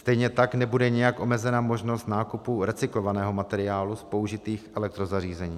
Stejně tak nebude nijak omezena možnost nákupu recyklovaného materiálu z použitých elektrozařízení.